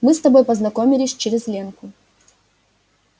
мы с тобой познакомились через ленку